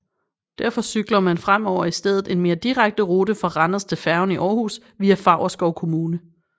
Derfor cykler man fremover i stedet en mere direkte rute fra Randers til færgen i Århus via Favrskov Kommune